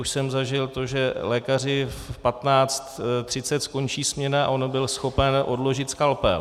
Už jsem zažil to, že lékaři v 15.30 skončí směna a on byl schopen odložit skalpel.